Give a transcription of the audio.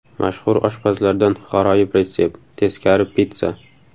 Mashhur oshpazlardan g‘aroyib retsept: teskari pitssa.